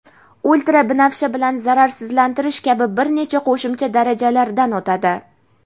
ultrabinafsha bilan zararsizlantirish kabi bir necha qo‘shimcha darajalaridan o‘tadi.